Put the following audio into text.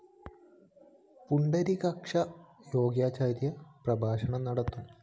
പുണ്ടരീകാക്ഷ യോഗാചാര്യ പ്രഭാഷണം നടത്തും